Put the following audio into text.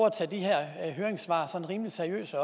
at tage de her høringssvar rimelig seriøst så